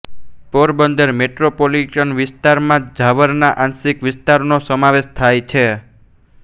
Porbandar metropolitan વિસ્તારોમાં ઝાવરના આંશિક વિસ્તારોનો સમાવેશ થાય છે